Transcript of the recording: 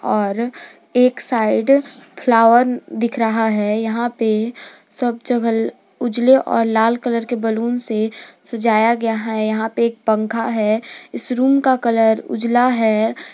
और एक side flower दिख रहा है यहां पे सब जगह उजले और लाल कलर के बैलून से सजाया गया है यहां पे एक पंखा है इस रूम का कलर उजला है।